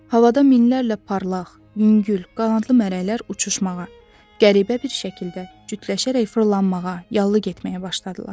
Havada minlərlə parlaq, yüngül, qanadlı mələklər uçuşmağa, qəribə bir şəkildə cütləşərək fırlanmağa, yallı getməyə başladılar.